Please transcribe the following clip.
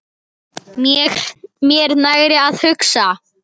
Mér nægir að hugsa.